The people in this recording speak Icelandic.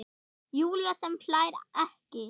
Júlía sem hlær ekki.